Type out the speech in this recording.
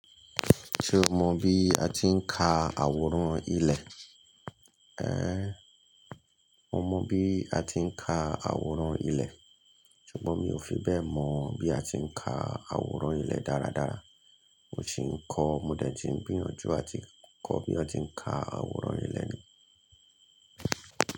Ṣé o mọ bí a ti ń ka àwòrán ilẹ̀? Ẹ́, mo mọ bí a ti ń ka àwòrán ilẹ̀, ṣùgbọ́n mi ò fi bẹ́ẹ̀ mọ bí a ti ń ka àwòrán ilẹ̀ dáradára. Mo sì ń kọ́, mo dẹ̀ tí ń gbiyanju àti kọ́ bí wọ́n ti ń ka àwòrán ilẹ̀ ni.